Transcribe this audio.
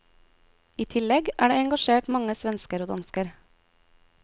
I tillegg er det engasjert mange svensker og dansker.